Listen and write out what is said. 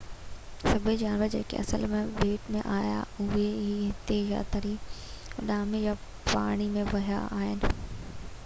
سڀئي جانور جيڪي اصل ۾ ٻيٽ ۾ آيا هئا اهي هتي يا ته تري ، اڏامي يا پاڻي ۾ وهي آيا آهن